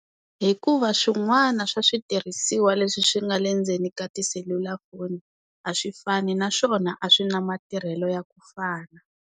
Hikuva swin'wana swa switirhisiwa leswi swi nga le ndzeni ka tiselulafoni a swi fani naswona a swi na matirhelo ya ku fana.